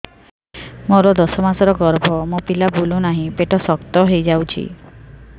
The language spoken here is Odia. ମୋର ଦଶ ମାସର ଗର୍ଭ ମୋ ପିଲା ବୁଲୁ ନାହିଁ ପେଟ ଶକ୍ତ ହେଇଯାଉଛି